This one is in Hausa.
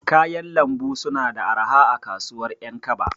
Kayan Lambu suna da arha a kasuwar ƴankaba.